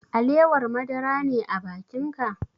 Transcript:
Alewar madara ne a bakin ka?